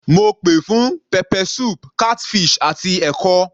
Mo pè fún pepper soup, catfish àti ẹ̀kọ.